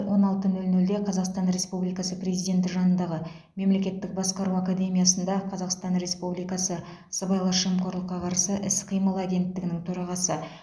он алты нөл нөлде қазақстан республикасы президенті жанындағы мемлекеттік басқару академиясында қазақстан республикасы сыбайлас жемқорлыққа қарсы іс қимыл агенттігінің төрағасы